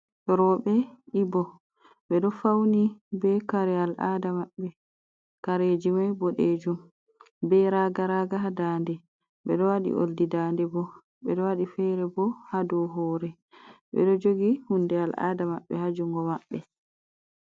Roɓe ibo, ɓe ɗo fauni be kare al ada maɓɓe, kareji mai boɗejum be raga raga ha daande, beɗo waɗi oldi daande bo, ɓeɗo waɗi fere bo ha dow hore, ɓeɗo jogi hunde al ada maɓɓe ha jungo maɓɓe.